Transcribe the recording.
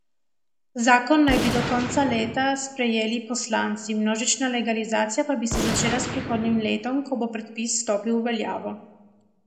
Zakon naj bi do konca leta sprejeli poslanci, množična legalizacija pa bi se začela s prihodnjim letom, ko bi predpis stopil v veljavo.